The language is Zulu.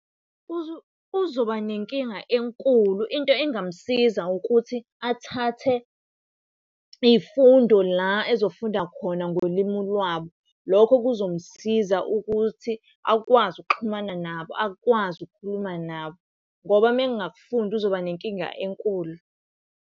Uzoba nenkinga enkulu. Into engamsiza ukuthi athathe iy'fundo la ezofunda khona ngolimu lwabo. Lokho kuzomsiza ukuthi akwazi ukuxhumana nabo, akwazi ukukhuluma nabo ngoba mengakufundi uzoba nenkinga enkulu.